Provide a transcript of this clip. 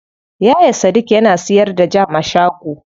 Yaya sadik yana siyar da jam a shago.